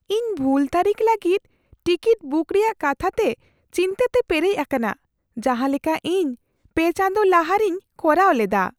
ᱤᱧ ᱵᱷᱩᱞ ᱛᱟᱹᱨᱤᱠᱷ ᱞᱟᱹᱜᱤᱫ ᱴᱤᱠᱤᱴ ᱵᱩᱠ ᱨᱮᱭᱟᱜ ᱠᱟᱛᱷᱟᱛᱮ ᱪᱤᱱᱛᱟᱹ ᱛᱮ ᱯᱮᱨᱮᱡ ᱟᱠᱟᱱᱟ ᱡᱟᱦᱟᱸᱞᱮᱠᱟ ᱤᱧ ᱓ ᱪᱟᱸᱫᱚ ᱞᱟᱦᱟ ᱨᱮᱧ ᱠᱚᱨᱟᱣ ᱞᱮᱫᱟ ᱾